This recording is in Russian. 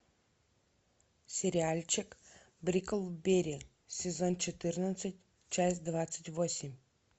сериальчик бриклберри сезон четырнадцать часть двадцать восемь